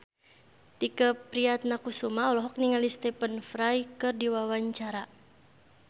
Tike Priatnakusuma olohok ningali Stephen Fry keur diwawancara